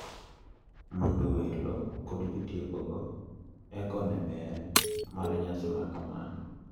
Mondo welo kod jotieko go eko one ber mar nyasi makama.